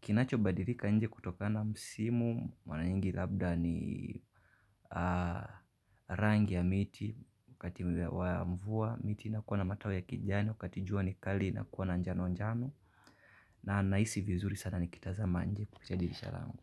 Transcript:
Kinachobadilika nje kutokana na msimu, mara nyingi labda ni rangi ya miti, wakati ule wa mvua, miti ina kuwa na matawi ya kijani, wakati jua ni kali ina kuwa na njano njano. Na nahisi vizuri sana nikitazama nje kupitia dirisha lango.